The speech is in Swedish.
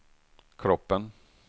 kroppen